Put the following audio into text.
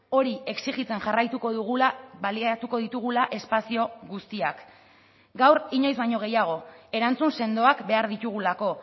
hori exijitzen jarraituko dugula baliatuko ditugula espazio guztiak gaur inoiz baino gehiago erantzun sendoak behar ditugulako